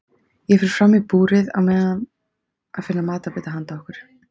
Ég fer fram í búrið á meðan að finna matarbita handa okkur.